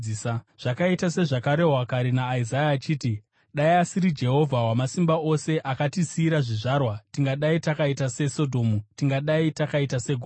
Zvakaita sezvakarehwa kare naIsaya achiti: “Dai asiri Jehovha Wamasimba Ose akatisiyira zvizvarwa, tingadai takaita seSodhomu tingadai takaita seGomora.”